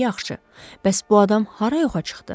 Yaxşı, bəs bu adam hara yoxa çıxdı?